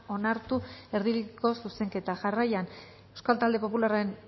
onartu erdibideko zuzenketa jarraian euskal talde popularren